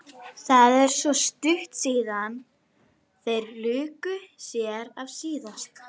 Það er svo stutt síðan þeir luku sér af síðast.